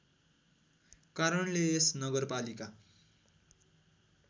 कारणले यस नगरपालिका